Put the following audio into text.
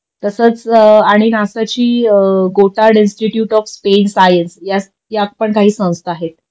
तसच आणि नासाची Goddard institute of space science या पण काही संस्था आहेत